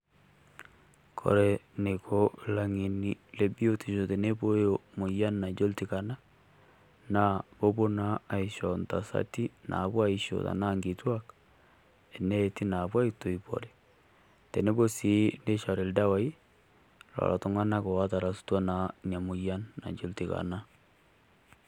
Kore neiko laing'eni le biotisho teneibooyo moyian najo ltikana naa kopoo naa aishoo ntasatii napoo aishoo tana nkitwaak eneeti napoo aitoipore teneboo sii nichoori eldawai lolo iltung'anak o tarasutwa naa enia moyian najo iltikana.